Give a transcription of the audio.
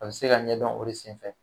A bɛ se ka ɲɛdɔn o de senfɛ.